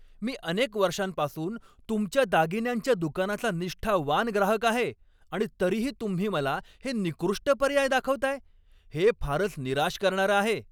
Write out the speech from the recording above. मी अनेक वर्षांपासून तुमच्या दागिन्यांच्या दुकानाचा निष्ठावान ग्राहक आहे आणि तरीही तुम्ही मला हे निकृष्ट पर्याय दाखवताय? हे फारच निराश करणारं आहे.